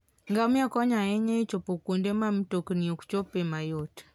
Ngamia konyo ahinya e chopo kuonde ma mtokni ok chopie mayot.